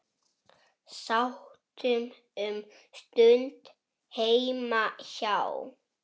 Sátum um stund heima hjá